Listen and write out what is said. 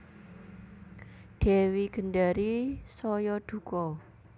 Dewi Gendari saya duka